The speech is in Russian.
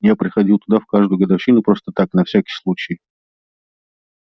я приходил туда в каждую годовщину просто так на всякий случай